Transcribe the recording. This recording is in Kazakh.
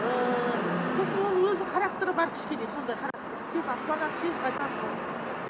ыыы сосын оның өзінің характері бар кішкене сондай характер тез ашуланады тез қайтады